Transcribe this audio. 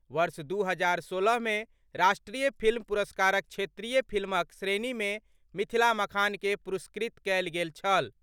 वर्ष दू हजार सोलह मे राष्ट्रीय फिल्म पुरस्कारक क्षेत्रीय फिल्मक श्रेणी मे मिथिला मखान के पुरस्कृत कएल गेल छल।